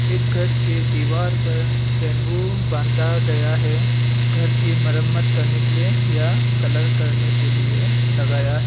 एक घर के दीवार पर बंबू बांधा गया है घर की मरम्मत करने के लिए या कलर करने के लिए लगाया--